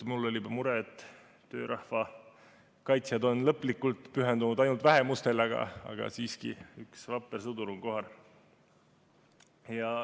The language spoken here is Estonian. Mul oli mure, et töörahva kaitsjad on lõplikult pühendunud ainult vähemustele, aga siiski üks vapper sõdur on kohal.